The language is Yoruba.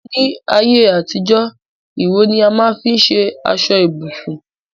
ní ayé àtijó, ìró ni a má n fi ṣe aṣọ ibùsùn